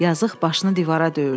Yazıq başını divara döyürdü.